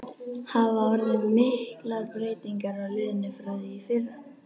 Hafa orðið miklar breytingar á liðinu frá því í fyrra?